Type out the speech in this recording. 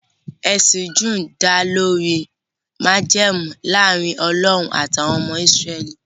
Ẹsìn Júù dá lórí májẹ̀mú láàrin Ọlọ́run àti àwọn ọmọ Ísírẹ́lì